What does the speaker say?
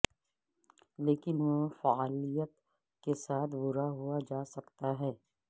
لیکن وہ فعالیت کے ساتھ بھرا ہوا جا سکتا ہے